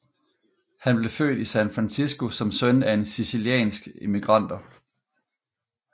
Han blev født i San Francisco som søn af sicilianske immigranter